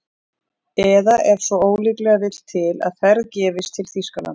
Eða ef svo ólíklega vill til að ferð gefist til Þýskalands